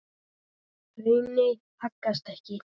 Hraunið haggast ekki.